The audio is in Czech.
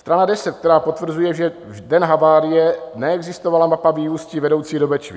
Strana 10, která potvrzuje, že v den havárie neexistovala mapa vyústí vedoucích do Bečvy.